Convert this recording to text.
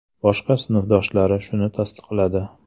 Boshqa sinfdoshlari shuni tasdiqladi.